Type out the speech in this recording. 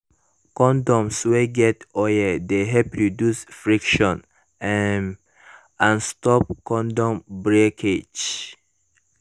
condoms wey get oil de help reduce friction um and stop condom breakage